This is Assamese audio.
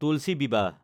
তুলচী বিবাহ